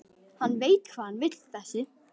Hann veit hvað hann vill þessi!